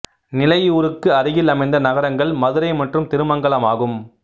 நிலையூருக்கு அருகில் அமைந்த நகரங்கள் மதுரை மற்றும் திருமங்கலம் ஆகும்